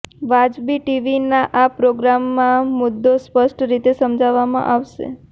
વાજબી ટીવીના આ પ્રોગ્રામમાં આ મુદ્દો સ્પષ્ટ રીતે સમજાવવામાં આવશે